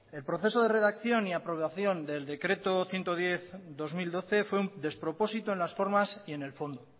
el proceso de redacción y aprobación del decreto ciento diez barra dos mil doce fue un despropósito en las formas y en el fondo